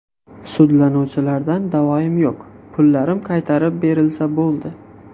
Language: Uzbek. Sudlanuvchilardan da’voim yo‘q, pullarim qaytarib berilsa bo‘ldi.